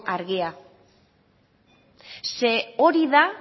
argia ze hori da